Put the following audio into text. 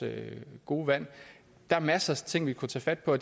gode vand der er masser af ting vi kunne tage fat på